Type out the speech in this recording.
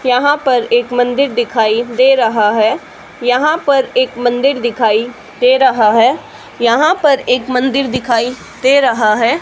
यहां पर एक मंदिर दिखाई दे रहा है यहां पर एक मंदिर दिखाई दे रहा है यहां पर एक मंदिर दिखाई दे रहा है।